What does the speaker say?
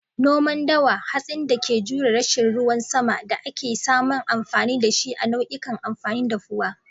Noman dawa, hatsin da ke jure rashin ruwan sama da ake samun amfani da shi a nau'ikan amfanin dafuwa